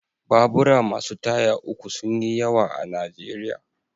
Babura masu taya uku sun yi yawa a Najeriya.